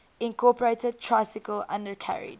incorporated tricycle undercarriage